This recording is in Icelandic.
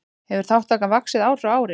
Hefur þátttakan vaxið ár frá ári